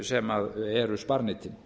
sem eru sparneytin